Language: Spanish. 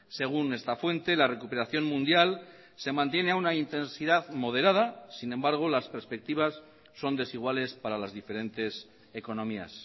según esta fuente la recuperación mundial se mantiene a una intensidad moderada sin embargo las perspectivas son desiguales para las diferentes economías